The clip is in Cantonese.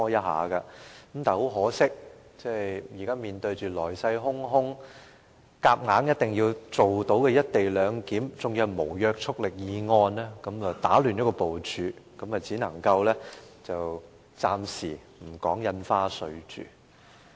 很可惜，現在面對來勢洶洶、需要強行落實卻無約束力的"一地兩檢"議案，打亂了部署，只能夠暫停審議《條例草案》。